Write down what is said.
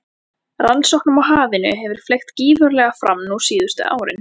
Rannsóknum á hafinu hefur fleygt gífurlega fram nú síðustu árin.